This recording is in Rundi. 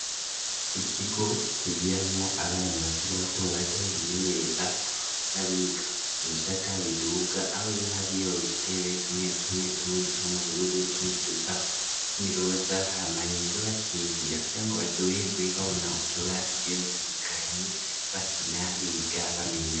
Ikigo kigiramo abana bakiri bato bato bimenyereza n'abiga. Mu bisata biduga aho n'iyo hariyo gitebe tumwe tumwe tumwe dusa n'ubururu tundi dusa niroza .Hama rero bakiyigira kukira ngo baryoherwe babona utubara tugiye dutandukanye bakina biga bamenya .